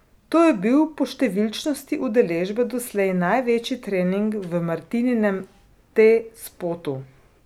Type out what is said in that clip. To je bil po številčnosti udeležbe doslej največji trening v Martininem T Spotu.